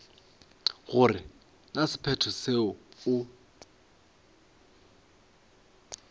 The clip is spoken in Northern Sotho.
gore na sephetho seo o